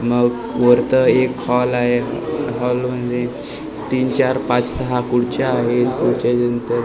म वरतं एक हॉल आहे हॉलमध्ये तीन चार पाच सहा खुर्च्या आहेत खुर्च्याच्या नंतर --